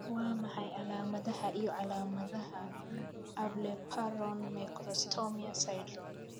Waa maxay calaamadaha iyo calaamadaha Ablepharon macrostomia syndrome?